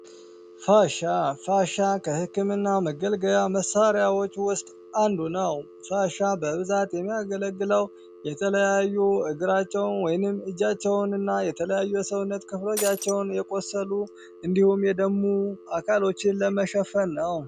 ፋሻ ፋሻ ከሕክምና መገልገያ መሣሪያዎች ውስጥ አንዱ ነው። ፋሻ በብዛት የሚያገለግለው የተለያዩ እግራቸውን ወይንም እጃቸውን እና የተለያዩ የሰውነት ክፍሎቻቸውን የቆሰሉ እንዲሁም የደሙ አካሎችን ለመሸፈን ነው።